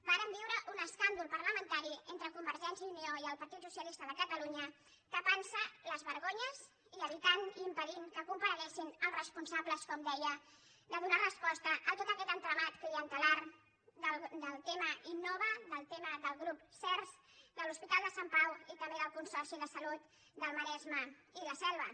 vàrem viure un escàndol parlamentari entre convergència i unió i el partit socialista de catalunya tapant se les vergonyes i evitant i impedint que compareguessin els responsables com deia de donar resposta a tot aquest entramat clientelar del tema innova del tema del grup serhs de l’hospital de sant pau i també del consorci de salut del maresme i la selva